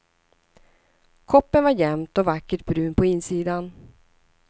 Koppen var jämnt och vackert brun på insidan.